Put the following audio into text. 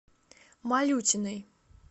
малютиной